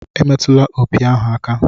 Emetụla opi ahu aka!